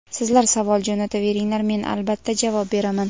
Sizlar savol jo‘nataveringlar men albatta javob beraman.